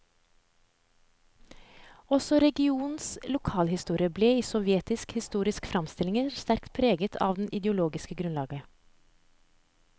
Også regionens lokalhistorie ble i sovjetiske historiske framstillinger sterkt preget av det ideologiske grunnlaget.